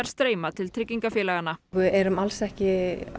streyma til tryggingafélaganna við erum alls ekki